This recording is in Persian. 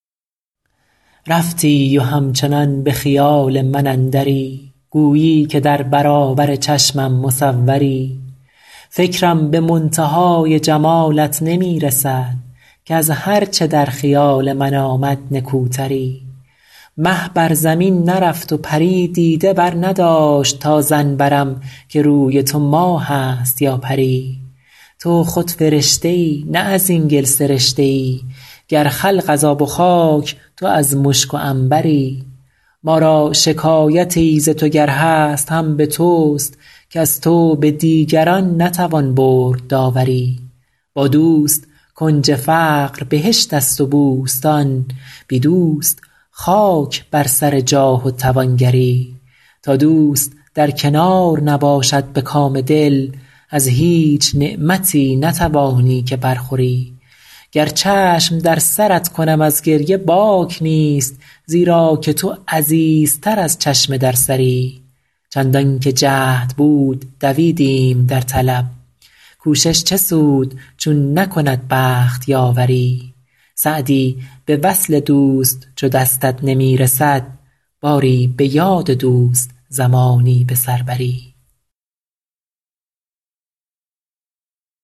رفتی و همچنان به خیال من اندری گویی که در برابر چشمم مصوری فکرم به منتهای جمالت نمی رسد کز هر چه در خیال من آمد نکوتری مه بر زمین نرفت و پری دیده برنداشت تا ظن برم که روی تو ماه است یا پری تو خود فرشته ای نه از این گل سرشته ای گر خلق از آب و خاک تو از مشک و عنبری ما را شکایتی ز تو گر هست هم به توست کز تو به دیگران نتوان برد داوری با دوست کنج فقر بهشت است و بوستان بی دوست خاک بر سر جاه و توانگری تا دوست در کنار نباشد به کام دل از هیچ نعمتی نتوانی که برخوری گر چشم در سرت کنم از گریه باک نیست زیرا که تو عزیزتر از چشم در سری چندان که جهد بود دویدیم در طلب کوشش چه سود چون نکند بخت یاوری سعدی به وصل دوست چو دستت نمی رسد باری به یاد دوست زمانی به سر بری